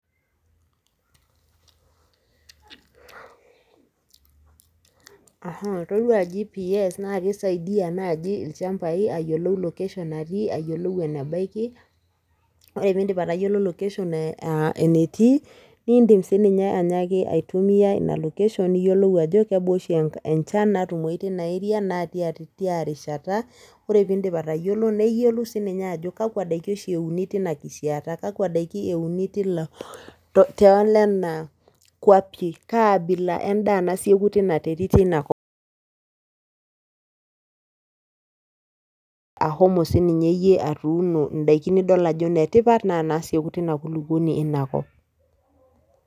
toduo gps naa ilchambai ayiolou loketion natii, enebaiki, ore pee idip atayiolo loketion enetii, nidim sii ninye atayiolo aitumiya ina loketion, niyiolou ajo kebaa oshi enchan tina erea naa tia rishata, ore pee idip atayiolo kakuadaiki oshi euni kaa bila edaa nasioku tina kop naa idim siiyie atuuno naa kadaa nasioku tina kulukuoni.